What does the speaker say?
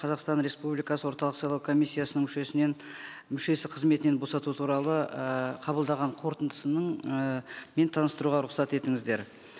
қазақстан республикасы орталық сайлау комиссиясының мүшесі қызметінен босату туралы ііі қабылдаған қорытындысының і таныстыруға рұқсат етіңіздер